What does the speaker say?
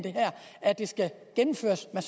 at det skal gennemføres med